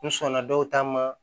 N sɔnna dɔw ta ma